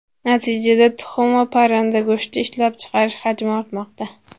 Natijada tuxum va parranda go‘shti ishlab chiqarish hajmi ortmoqda.